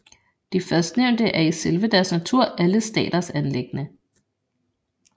De førstnævnte er i selve deres natur alle staters anliggende